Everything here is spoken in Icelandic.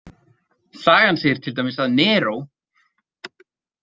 Sagan segir til dæmis að Neró.